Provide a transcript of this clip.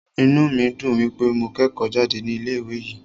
Inú mí dùn wípé mo kẹ́kọ̀ọ́ jáde ní ilé ìwé yìí.